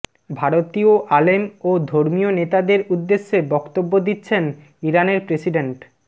ভারতীয় আলেম ও ধর্মীয় নেতাদের উদ্দেশে বক্তব্য দিচ্ছেন ইরানের প্রেসিডেন্ট